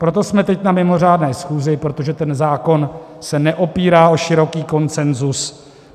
Proto jsme teď na mimořádné schůzi, protože ten zákon se neopírá o široký konsenzus.